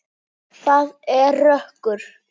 Það er rökkur.